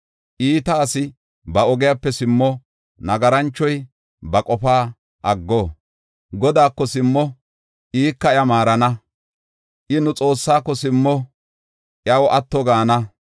Iita asi ba ogiyape simmo; nagaranchoy ba qofaa aggo. Godaako simmo, ika iya maarana; I nu Xoossaako simmo, iyaw atto gaana.